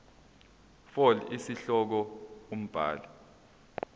fal isihloko umbhali